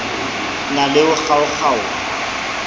na le ho kgaokg aoha